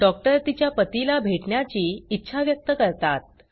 doctor तिच्या पतीला भेटण्याची इच्छा व्यक्त करतात